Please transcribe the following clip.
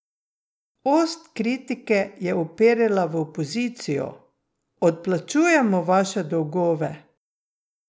Ost kritike je uperila v opozicijo: 'Odplačujemo vaše dolgove.